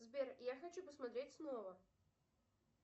сбер я хочу посмотреть снова